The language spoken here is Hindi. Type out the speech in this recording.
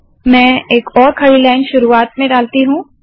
मैं एक और खड़ी लाइन शुरुवात में डालती हूँ